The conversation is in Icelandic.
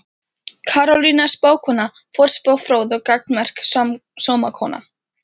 Karolína spákona, forspá fróð og gagnmerk sómakona.